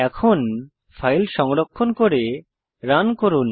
এখন ফাইল সংরক্ষণ করে রান করুন